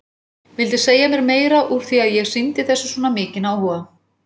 Vildi segja mér meira úr því að ég sýndi þessu svona mikinn áhuga.